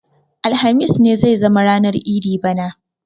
Alhamis ne zai zama ranar idi bana